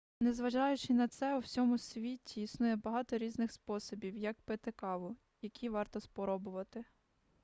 незважаючи на це у всьому світі існує багато різних способів як пити каву які варто спробувати